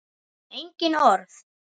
Engin orð.